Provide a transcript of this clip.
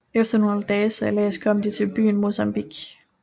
Efter nogle dages sejlads kom de til byen Mozambique